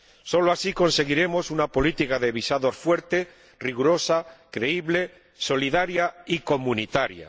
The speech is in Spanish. Solo así conseguiremos una política de visados fuerte, rigurosa, creíble, solidaria y comunitaria.